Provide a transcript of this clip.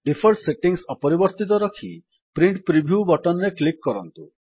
default settings ଅପରିବର୍ତ୍ତିତ ରଖି print preview button ରେ କ୍ଲିକ୍ କରନ୍ତୁ